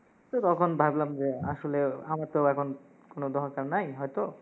তো তখন ভাবলাম যে, আসলে আমার তো এখন কোনো দরকার নাই, হয়তো